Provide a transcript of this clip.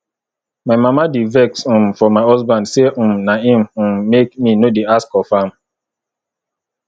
my mama dey vex um for my husband say um na him um make me no dey ask of am